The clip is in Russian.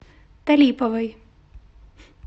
талиповой